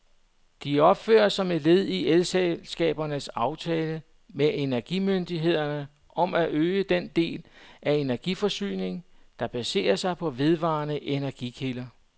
De opføres som led i elselskabernes aftale med energimyndighederne om at øge den del af energiforsyningen, der baserer sig på vedvarende energikilder.